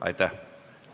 Aitäh!